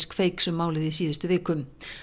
Kveiks um málið í síðustu viku